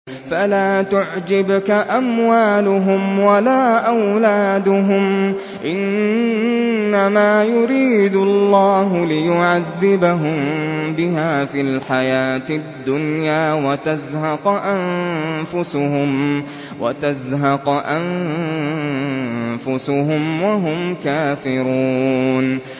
فَلَا تُعْجِبْكَ أَمْوَالُهُمْ وَلَا أَوْلَادُهُمْ ۚ إِنَّمَا يُرِيدُ اللَّهُ لِيُعَذِّبَهُم بِهَا فِي الْحَيَاةِ الدُّنْيَا وَتَزْهَقَ أَنفُسُهُمْ وَهُمْ كَافِرُونَ